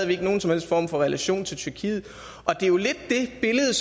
vi ikke nogen som helst form for relation til tyrkiet det er jo lidt det billede